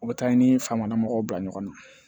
O bɛ taa i ni faama mɔgɔw bila ɲɔgɔn na